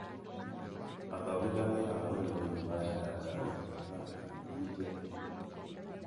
Athomithania a ũrĩmi nĩmarenda ngari na bikibiki njerũ